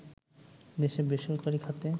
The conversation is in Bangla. দেশে বেসরকারি খাতে